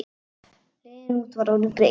Leiðin út var orðin greið.